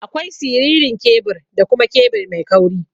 Akwai siririn kebur da kuma kebur mai kauri.